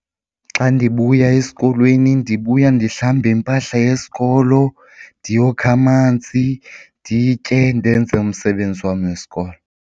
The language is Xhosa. Xa ndibuya esikolweni ndibuya ndihlambe iimpahla yesikolo ndiyokha amanzi nditye ndenze umsebenzi wam wesikolo.